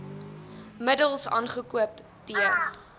middels aangekoop t